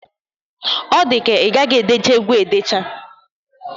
Ọ dịka ị gaghị edecha egwu a edecha.